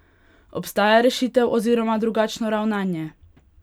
Obstaja rešitev oziroma drugačno ravnanje?